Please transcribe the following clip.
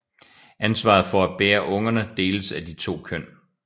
Ansvaret for at bære ungerne deles af de to køn